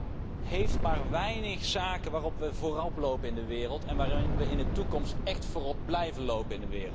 Europa heeft maar weinig zaken waarin we voorop lopen in de wereld en waarin we in de toekomst echt voorop blijven lopen.